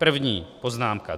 První poznámka.